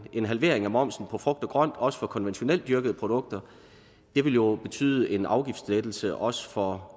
en halvering af momsen på frugt og grønt også på konventionelt dyrkede produkter vil jo betyde en afgiftslettelse også for